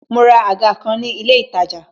Mo ra àga kan ni ilé itaja